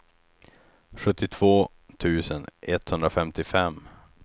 sjuttiotvå tusen etthundrafemtiofem